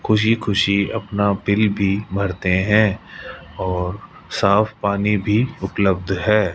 खुशी खुशी अपना बिल भी भरते है और साफ पानी भी उपलब्ध है।